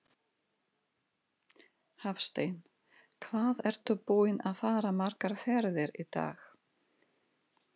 Hafsteinn: Hvað ertu búinn að fara margar ferðir í dag?